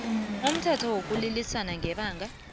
umthetho wokulilisa ngebanga